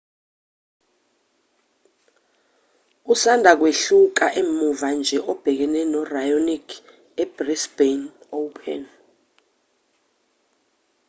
usanda kwehluleka muva nje ebhekene no-raonic ebrisbane open